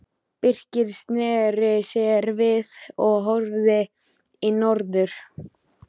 Birkir sneri sér við og horfði í norður.